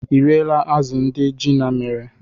Ị riela azụ̀ ndị Gina mere?